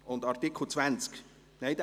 Und Artikel 20 … Nein